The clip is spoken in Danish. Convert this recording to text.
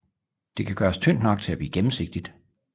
Det kan gøres tyndt nok til at blive gennemsigtigt